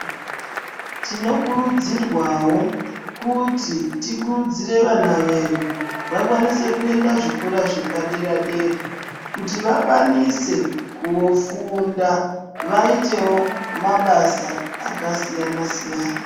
Tinokurudzirwawo kuti tikurudzire vana vedu vakwanise kuenda kuzvikora zvepadera dera kuti vakwanise kofunda kuti vaitewo mabasa akasiyana siyana.